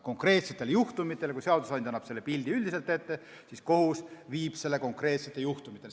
Kui seadusandja annab selle pildi üldiselt ette, siis kohus viib selle konkreetsete juhtumiteni.